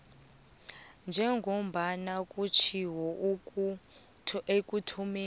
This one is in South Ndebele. njengombana kutjhiwo ekuthomeni